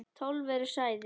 Tólf eru særðir.